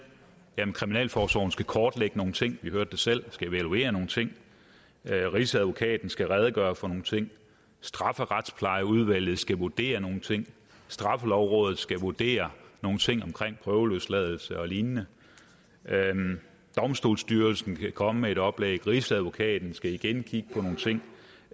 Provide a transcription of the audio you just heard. at kriminalforsorgen skal kortlægge nogle ting vi hørte det selv og skal evaluere nogle ting rigsadvokaten skal redegøre for nogle ting strafferetsplejeudvalget skal vurdere nogle ting straffelovrådet skal vurdere nogle ting omkring prøveløsladelse og lignende domstolsstyrelsen kan komme med et oplæg rigsadvokaten skal igen kigge på nogle ting